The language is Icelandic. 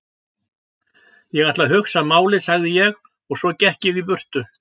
Ég ætla að hugsa málið sagði ég svo og gekk í burtu.